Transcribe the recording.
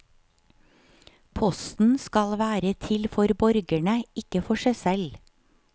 Posten skal være til for borgerne, ikke for seg selv.